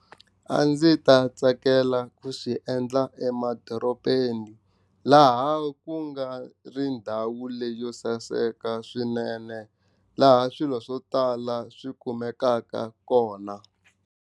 A ndzi ta tsakela ku swi endla emadorobeni laha ku nga ri ndhawu leyo saseka swinene laha swilo swo tala swi kumekaka kona.